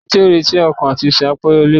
Ẹni tí ó ń retí àti sun akàn, á pẹ́ l'èbúté.